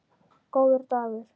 Góður dagur